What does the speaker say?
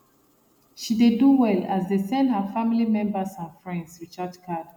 she dey do well as dey send her family member and friends recharge card